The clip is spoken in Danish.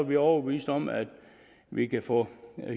vi overbevist om at vi kan få